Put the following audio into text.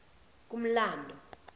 kumlando